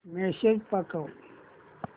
message पाठव